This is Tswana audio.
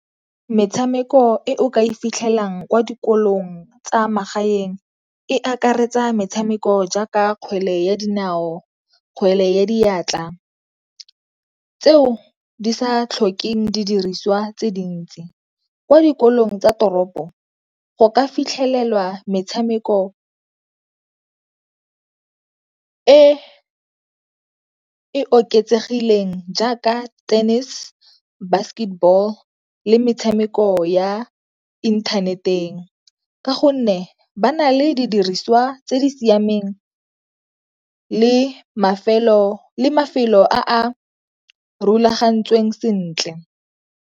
Metshameko e o ka e fitlhelang kwa dikolong tsa magaeng e akaretsa metshameko jaaka kgwele ya dinao, kgwele ya diatla, tseo di sa tlhokeng di diriswa tse dintsi. Kwa dikolong tsa toropo go ka fitlhelelwa metshameko e e oketsegileng jaaka tennis, basketball le metshameko ya inthaneteng ka gonne ba na le di diriswa tse di siameng le mafelo a a rulagantsweng sentle.